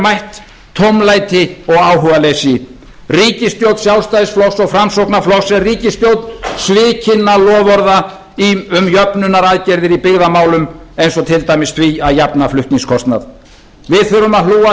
mætt tómlæti og áhugaleysi ríkisstjórn sjálfstæðisflokks og framsóknarflokks er ríkisstjórn svikinna loforða um jöfnunaraðgerðir í byggðamálum eins og til dæmis því að jafna flutningskostnað við þurfum að hlúa að